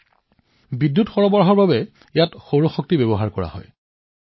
ইয়াত বিদ্যুতৰ বাবে সৌৰ পেনেলো আছে